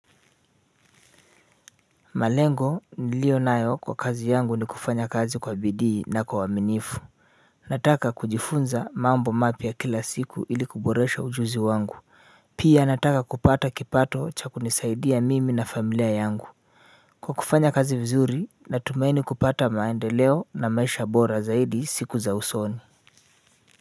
Malengo nilio nayo kwa kazi yangu ni kufanya kazi kwa bidii na kwa uaminifu. Nataka kujifunza mambo mapya kila siku ili kuboresha ujuzi wangu. Pia nataka kupata kipato cha kunisaidia mimi na familia yangu kwa kufanya kazi vizuri natumaini kupata maendeleo na maisha bora zaidi siku za usoni.